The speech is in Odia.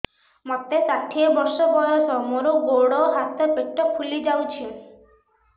ମୋତେ ଷାଠିଏ ବର୍ଷ ବୟସ ମୋର ଗୋଡୋ ହାତ ପେଟ ଫୁଲି ଯାଉଛି